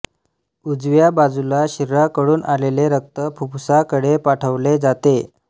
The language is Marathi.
उजव्या बाजूला शरीराकडून आलेले रक्त फुफ्फुसाकडे पाठवले जाते